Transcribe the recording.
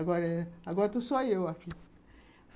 Agora estou só eu aqui.